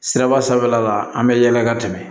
Siraba sanfɛla la an bɛ yɛlɛ ka tɛmɛ